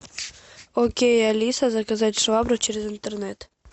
окей алиса заказать швабру через интернет